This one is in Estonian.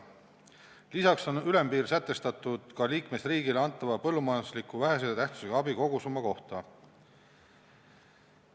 Lisaks on ülempiir sätestatud ka liikmesriigile antava põllumajandusliku vähese tähtsusega abi kogusumma kohta.